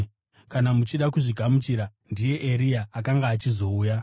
Kana muchida kuzvigamuchira, ndiye Eria akanga achizouya.